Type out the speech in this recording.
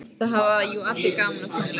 Það hafa jú allir gaman af tónlist.